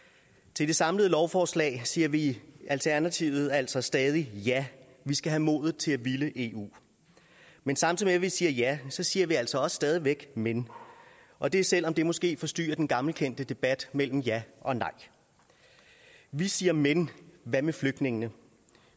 til det samlede lovforslag siger vi i alternativet altså stadig ja vi skal have modet til at ville eu men samtidig med at vi siger ja siger vi altså også stadig væk men og det selv om det måske forstyrrer den gammelkendte debat mellem ja og nej vi siger men hvad med flygtningene og